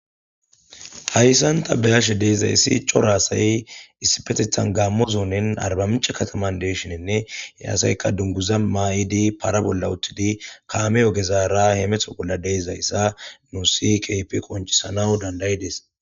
Haysan ta be'ashe de'izaysi cora asati gaamo zoneni arbaminche katamani de'ishininne he asayka dunguza mayidi para bolla utidi kaame ogezara hemeto bolla de'izaysa nuusi keehippe qoncisana danda'idesi.